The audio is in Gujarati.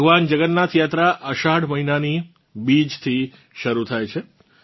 ભગવાન જગન્નાથ યાત્રા અષાઢ મહીનાની બીજથી શરૂ થાય છે